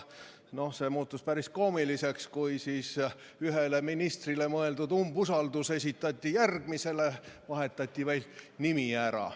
See muutus päris koomiliseks, kuidas ühele ministrile mõeldud umbusalduse avaldamise nõue esitati järgmisele, vahetati vaid nimi ära.